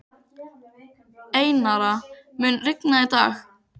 Einara, mun rigna í dag?